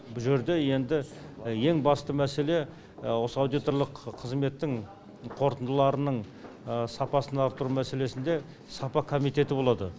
бұл жерде енді ең басты мәселе осы аудиторлық қызметтің қорытындыларының сапасын арттыру мәселесінде сапа комитеті болады